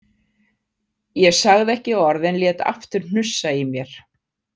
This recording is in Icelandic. Ég sagði ekki orð en lét aftur hnussa í mér.